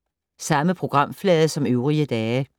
Samme programflade som øvrige dage